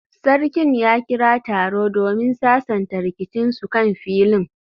Sarkin ya kira taro domin sasanta rikicinsu kan filin